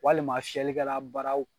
Walima fiyɛli kɛla baraw.